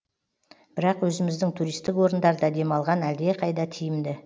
бірақ өзіміздің туристік орындарда демалған әлдеқайда тиімді